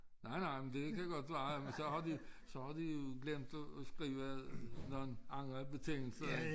Nej nej men det kan godt være men så har de så har de glemt at skrive nogle andre betingelser